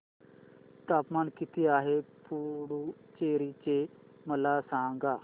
तापमान किती आहे पुडुचेरी चे मला सांगा